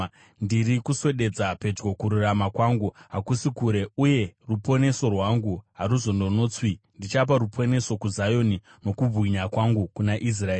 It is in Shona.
Ndiri kuswededza pedyo kururama kwangu, hakusi kure; uye ruponeso rwangu haruzononotswi. Ndichapa ruponeso kuZioni, nokubwinya kwangu kuna Israeri.